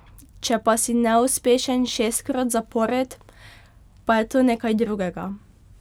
Če pa si neuspešen šestkrat zapored, pa je to nekaj drugega.